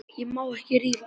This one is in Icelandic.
Ég má ekki rífast.